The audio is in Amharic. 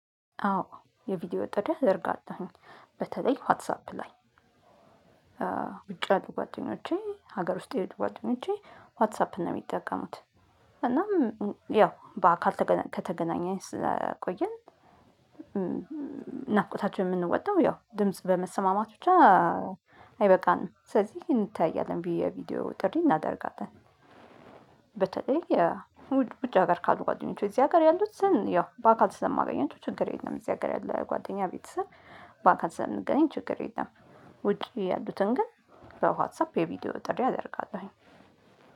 አዎ የቪዲዮ ወጥተህ አድርጋታሁኝ በተለይ ዋትሳፕ ላይ ውጪ አሉ ጓደኞቼ ዋትሳፕ ነው የሚጠቀሙት እናም ያው በአካል ከተገናኘን ስለቆየን ናፍቆታቸው የምንወጣው ያው ድምጽ በመሰማማት ብቻ አይበቃንም ስለዚህ እንተያያለን ብዬ የቪዲዮ ጥሪ እናደርጋለን። የውጭ ሀገር ካሉ ጓደኞቹ እዚህ ሀገር ያሉት ያው በአካል ስለማገኛቸው ችግር የለም። እዚህ ሀገር ያለ ጓደኛ ቤተሰብ በአካል ስለምንገናኝ ችግር የለም። ውጪ ያሉትን ግን በዋትሳፕ የቪዲዮ ጥሪ አደርጋለሁኝ።